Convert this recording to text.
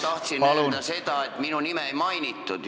Ma tahtsin öelda seda, et minu nime just ei mainitud.